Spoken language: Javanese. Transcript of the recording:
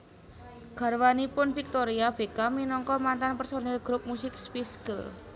Garwanipun Victoria Beckham minangka mantan personil grup musik Spice Girls